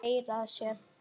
Meira að segja Þuríður